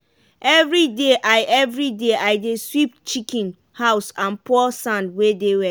everyday i everyday i dey sweep chicken house and pour sand wey dey wet.